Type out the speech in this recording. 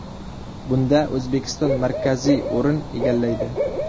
Bunda O‘zbekiston markaziy o‘rin egallaydi.